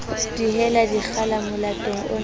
dihela dikgala molatong ono wa